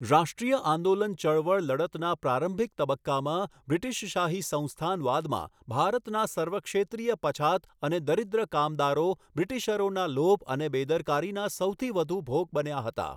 રાષ્ટ્રીય આંદોલન ચળવળ લડતના પ્રારંભિક તબક્કામાં બ્રિટીશશાહી સંસ્થાનવાદમાં ભારતના સર્વક્ષેત્રીય પછાત અને દરીદ્ર કામદારો બ્રિટીશરોના લોભ અને બેદરકારીના સૌથી વધુ ભોગ બન્યા હતા.